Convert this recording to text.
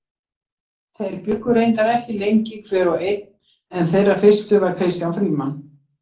Þeir bjuggu reyndar ekki lengi hver og einn en þeirra fyrstur var Kristján Frímann.